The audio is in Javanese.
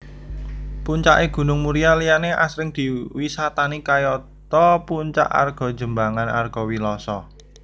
Puncake Gunung Muria liyane asring diwisatani kayata Puncak Argojembangan Argowiloso